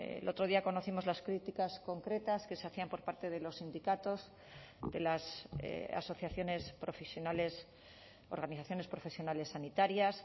el otro día conocimos las críticas concretas que se hacían por parte de los sindicatos de las asociaciones profesionales organizaciones profesionales sanitarias